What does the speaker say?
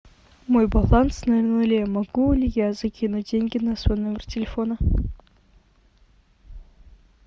мой баланс на нуле могу ли я закинуть деньги на свой номер телефона